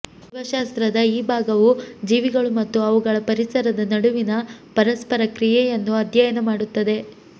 ಜೀವಶಾಸ್ತ್ರದ ಈ ಭಾಗವು ಜೀವಿಗಳು ಮತ್ತು ಅವುಗಳ ಪರಿಸರದ ನಡುವಿನ ಪರಸ್ಪರ ಕ್ರಿಯೆಯನ್ನು ಅಧ್ಯಯನ ಮಾಡುತ್ತದೆ